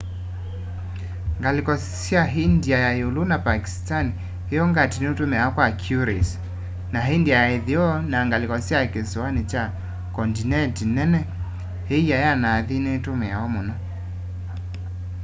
ngaliko sya india ya iulu na pakistani yongati nitumiawa kwa curries na india ya itheo na ngaliko sya kisoani kya kondineti nini iia ya nathi nitumiawa muno